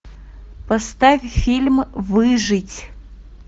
поставь фильм выжить